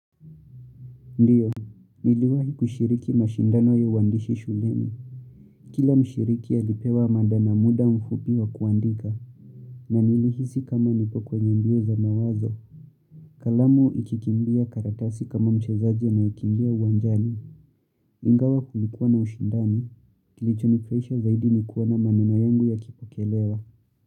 Ndiyo, niliwahi kushiriki mashindano ya uandishi shuleni. Kila mshiriki alipewa mada na muda mfupi wa kuandika. Na nilihisi kama nipo kwenye mbio za mawazo. Kalamu ikikimbia karatasi kama mchezaji anayekimbia uwanjani. Ingawa kulikuwa na ushindani. Kilichonifraisha zaidi ni kuona maneno yangu yakipokelewa.